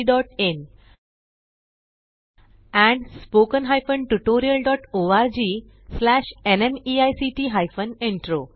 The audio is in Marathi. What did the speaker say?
oscariitbacइन एंड spoken tutorialorgnmeict इंट्रो